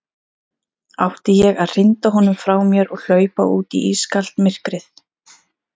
Átti ég að hrinda honum frá mér og hlaupa út í ískalt myrkrið?